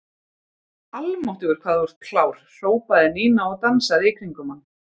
Almáttugur hvað þú ert klár hrópaði Nína og dansaði í kringum hann.